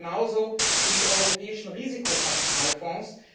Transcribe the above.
Das gilt genauso für die europäischen Risikokapitalfonds.